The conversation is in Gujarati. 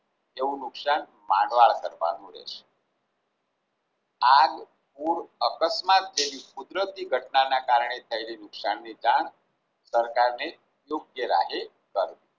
એવું નુકશાન માંડવાળ કરવાનું રહેશે. આગ પૂર અકસ્માત જેવી કુદરતી ઘટનાના કારણે થયેલા નુકસાનની જાણ સરકારને કરવું